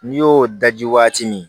N'i y'o daji waati min